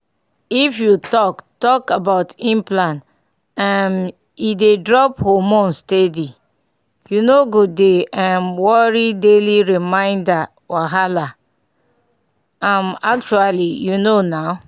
if you talk talk about implant um e dey drop hormone steady — you no go dey um worry daily reminder wahala um actually you know na.